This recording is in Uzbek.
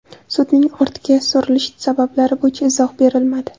Sudning ortga surilish sabablari bo‘yicha izoh berilmadi.